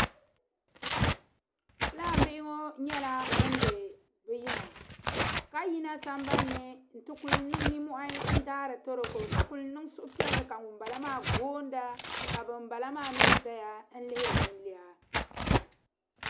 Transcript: Fulaan bihi ŋɔ nyala ban be bi yiŋa kayina san ba ni, n ti kuli nin nimmohi ndaari toroko. ka kul' nin suhu piɛli, ka ŋun bala maa booni, ka ban bala maa mi zaya lihiri nin lina.